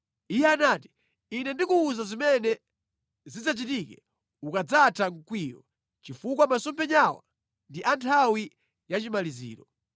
Iye anati, “Ine ndikuwuza zimene zidzachitike ukadzatha mkwiyo, chifukwa masomphenyawa ndi a nthawi ya chimaliziro.”